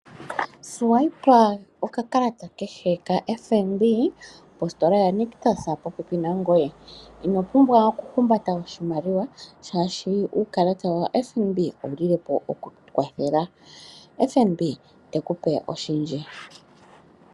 Swayipa nokakalata kehe ko FNB kositola ya Nictus popepi nangoye, ino pumbwa okuhumbata oshimaliwa shaashi uukalata wa FNB owu lile po okukukwathela. FNB, tekupe oshindji.